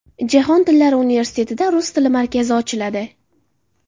Jahon tillari universitetida Rus tili markazi ochiladi.